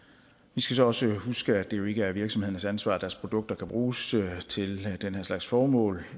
vi skal så også huske at det jo ikke er virksomhedernes ansvar at deres produkter kan bruges til den her slags formål